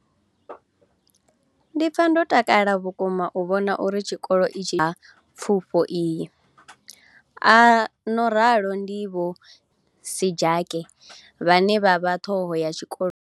Ndi pfa ndo takala vhukuma u vhona uri tshikolo itshi tsho thuba pfufho iyi a no ralo ndi Vho Seyanokeng Sejake vhane vha vha ṱhoho ya tshikolo itshi tsha